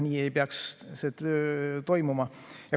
Nii ei peaks see toimuma.